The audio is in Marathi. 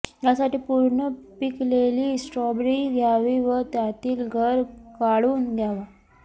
यासाठी पूर्ण पिकलेली स्ट्रॉबेरी घ्यावी व त्यातील गर काढून घ्यावा